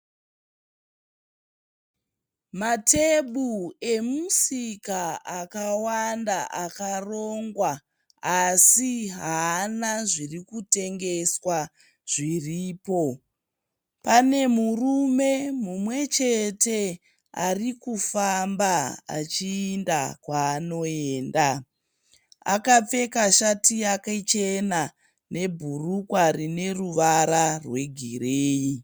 Matuburu emusika akawanda akarongwa asi haana zviri kutengeswa zviripo. Pane murume mumwe chete ari kufamba achiinda kwaanoenda. Akapfeka shati yake chena nebhurukwa rine ruvara rwegireyi.